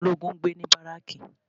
Àwọn ológun ń gbé ní baraki